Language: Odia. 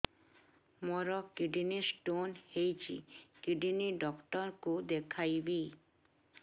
ମୋର କିଡନୀ ସ୍ଟୋନ୍ ହେଇଛି କିଡନୀ ଡକ୍ଟର କୁ ଦେଖାଇବି